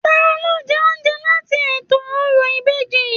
Taló jẹ oúnjẹ láti ètò òrò ìbejì?